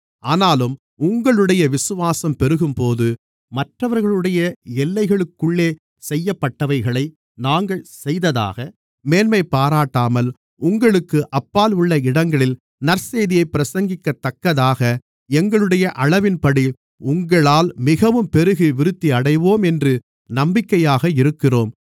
ஆனாலும் உங்களுடைய விசுவாசம் பெருகும்போது மற்றவர்களுடைய எல்லைகளுக்குள்ளே செய்யப்பட்டவைகளை நாங்கள் செய்ததாக மேன்மைபாராட்டாமல் உங்களுக்கு அப்பால் உள்ள இடங்களில் நற்செய்தியைப் பிரசங்கிக்கத்தக்கதாக எங்களுடைய அளவின்படி உங்களால் மிகவும் பெருகி விருத்தியடைவோம் என்று நம்பிக்கையாக இருக்கிறோம்